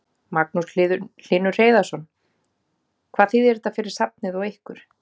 Magnús Hlynur Hreiðarsson: Hvað þýðir þetta fyrir safnið og ykkur?